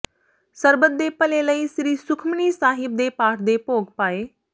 ਸਰਬੱਤ ਦੇ ਭਲੇ ਲਈ ਸ੍ਰੀ ਸੁਖਮਨੀ ਸਾਹਿਬ ਦੇ ਪਾਠ ਦੇ ਭੋਗ ਪਾਏ